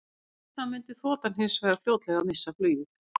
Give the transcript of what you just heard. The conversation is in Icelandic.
Við það mundi þotan hins vegar fljótlega missa flugið.